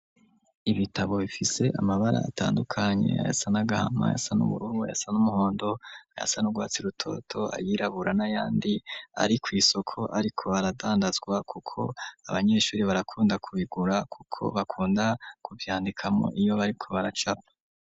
Ibitabo bifise amabara atandukanye ayasa n'agahama, ayasa n'uburubu, ayasa n'umuhondo, ayasa nugwatsi rutoto ayirabura na yandi ari kw'isoko ariko aradandazwa kuko abanyeshure barakunda kubigura kuko bakunda kuvyandikamwo iyo bariko baracapa.